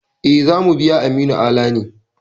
E, za mu biya Aminu Ala ne.